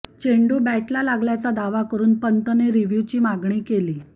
चेंडू बॅटला लागल्याचा दावा करुने पंतने रिव्ह्यूची मागणी केली